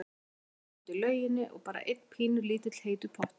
Það var ekkert dót í lauginni og bara einn pínulítill heitur pottur.